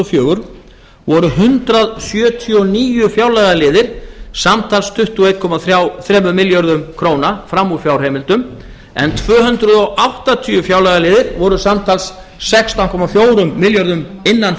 fjögur voru hundrað sjötíu og níu fjárlagaliðir samtals tuttugu og einn komma þremur milljörðum króna fram úr fjárheimildum en tvö hundruð áttatíu fjárlagaliðir voru samtals sextán komma fjórum milljörðum innan